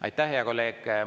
Aitäh, hea kolleeg!